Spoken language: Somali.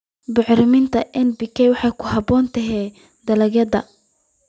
Bacriminta NPK waxay ku habboon tahay dalagyada.